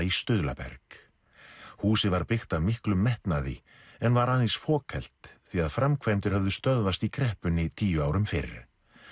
í stuðlaberg húsið var byggt af miklum metnaði en var aðeins fokhelt því að framkvæmdir höfðu stöðvast í kreppunni tíu árum fyrr